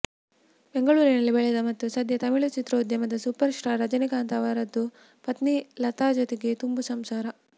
ಬೆಂಗಳೂರಿನಲ್ಲಿ ಬೆಳೆದ ಮತ್ತು ಸದ್ಯ ತಮಿಳು ಚಿತ್ರೋದ್ಯಮದ ಸೂಪರ್ ಸ್ಟಾರ್ ರಜನೀಕಾಂತ್ ಅವರದ್ದು ಪತ್ನಿ ಲತಾ ಜೊತೆಗೆ ತುಂಬು ಸಂಸಾರ